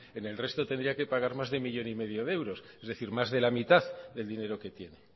en el resto tendría que pagar más de millón y medio de euros es decir más de la mitad del dinero que tiene